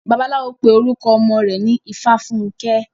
Bàbáláwo pé orukọ ọmọ rẹ̀ ní Ifáfunkẹ́.